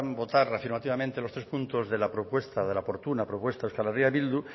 votar afirmativamente los tres puntos de la propuesta de la oportuna propuesta de euskal herria bildu